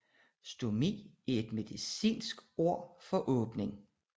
Stomi er et medicinsk term for åbning